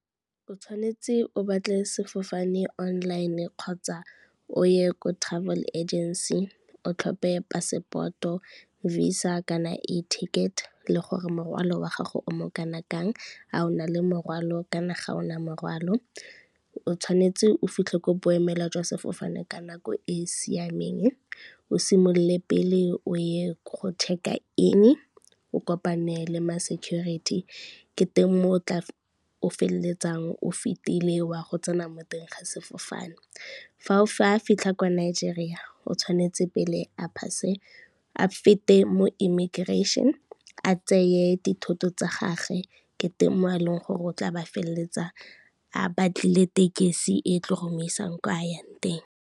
O tshwanetse o batle sefofane online kgotsa o ye ko travel agency o tlhope passport-o, visa kana a ticket le gore morwalo wa gago o mo kana kang, a ona le morwalo kana ga ona morwalo. O tshwanetse o fitlhe kwa boemela jwa sefofane ka nako e e siameng o simolole pele o ye go check-a in, o kopane le ma security ke teng mo o tla o feleletsang o fetile wa go tsena mo teng ga sefofane. Fa a fitlha kwa Nigeria o tshwanetse pele a fete mo immigration, a tseye dithoto tsa gage ke teng mo e leng gore o tla ba feleletsa a batlile tekesi e tlo go mo isang kwa a yang teng.